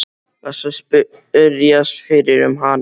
Varstu að spyrjast fyrir um hana?